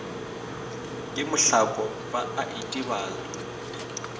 ke mohlako ba a itebala